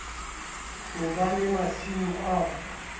ho ba le masimo ao